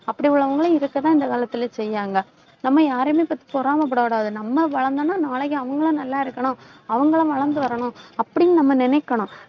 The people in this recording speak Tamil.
அப்படி உள்ளவங்களும் இருக்கத்தான் இந்த காலத்துல செய்யாங்க. நம்ம யாரையுமே பத்தி பொறாமை படக்கூடாது. நம்ம வளர்ந்தோம்னா, நாளைக்கு அவங்களும் நல்லா இருக்கணும். அவங்களும் வளர்ந்து வரணும் அப்படின்னு நம்ம நினைக்கணும்.